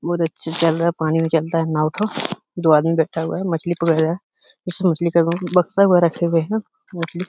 बोहोत अच्छी चल रहा है। पानी में चलता है नाव ठो। दो आदमी बैठा हुआ है। मछली पकड़ रहा है। बक्सा वहां रखे हुए है। मछली --